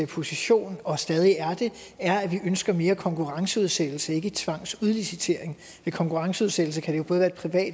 position og stadig er det er at vi ønsker mere konkurrenceudsættelse og ikke tvangsudlicitering ved konkurrenceudsættelse kan